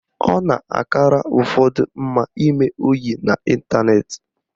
Ọ na-akara ụfọdụ mma ime oyi n'ịntaneti